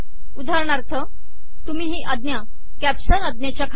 उदाहरणार्थ तुम्ही ही आज्ञा कॅप्शन आज्ञेच्या खाली द्या